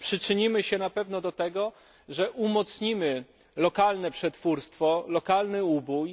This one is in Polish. Przyczynimy się na pewno do tego, że umocnimy lokalne przetwórstwo, lokalny ubój.